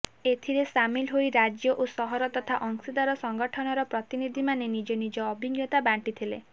ଏଥିରେ ସାମିଲ ହୋଇ ରାଜ୍ୟ ଓ ସହର ତଥା ଅଂଶୀଦାର ସଂଗଠନର ପ୍ରତିନିଧିମାନେ ନିଜ ନିଜ ଅଭିଜ୍ଞତା ବାଣ୍ଟିଥିଲେ